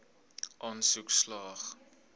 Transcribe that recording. aansoek slaag